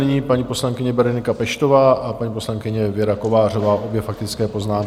Nyní paní poslankyně Berenika Peštová a paní poslankyně Věra Kovářová, obě faktické poznámky.